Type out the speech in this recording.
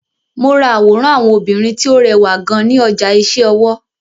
Mo ra àwòrán àwọn obìnrin tí ó rẹwà gan ní ọjà iṣẹ́ ọwọ́.